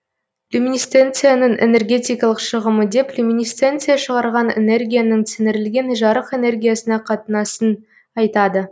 люминесценцияның энергетикалық шығымы деп люминесценция шығарған энергияның сіңірілген жарық энергиясына қатынасын айтады